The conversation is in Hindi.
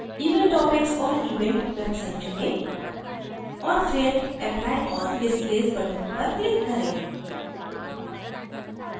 event topics और event website चुनें और फिर apply all displays button पर click करें